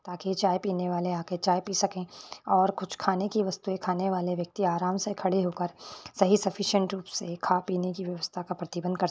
ताकि चाय पीने वाले आ के चाय पी सके और कुछ खाने की वस्तु खाने वाले व्यक्ति आराम से खड़े होकर सही सुफ्फिसिएंट रूप से खा पी ने की व्यवस्था का प्रतिबन्ध कर सके।